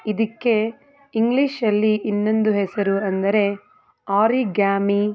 ಇದಕ್ಕೆ ಇಂಗ್ಲಿಷಲ್ಲಿ ಇನ್ನೊಂದು ಹೆಸರು ಅಂದರೆ ಆರಿಗ್ಯಾಮಿ.